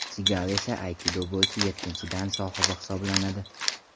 Sigal esa aykido bo‘yicha yettinchi dan sohibi hisoblanadi.